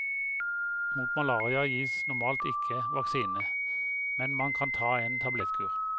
Mot malaria gis normalt ikke vaksine, men man kan ta en tablettkur.